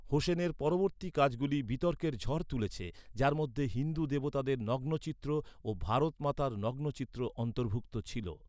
হোসেনের পরবর্তী কাজগুলি বিতর্কের ঝড় তুলেছে, যার মধ্যে হিন্দু দেবতাদের নগ্ন চিত্র ও ভারত মাতার নগ্ন চিত্র অন্তর্ভুক্ত ছিল।